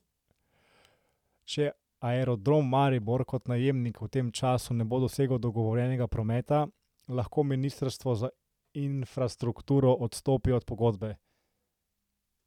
Če Aerodrom Maribor kot najemnik v tem času ne bo dosegel dogovorjenega prometa, lahko ministrstvo za infrastrukturo odstopi od pogodbe.